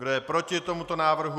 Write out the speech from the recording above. Kdo je proti tomuto návrhu?